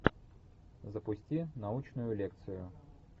запусти научную лекцию